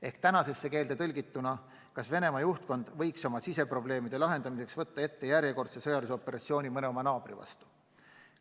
Ehk tänasesse keelde tõlgituna: kas Venemaa juhtkond võiks oma siseprobleemide lahendamiseks võtta ette järjekordse sõjalise operatsiooni mõne oma naabri vastu?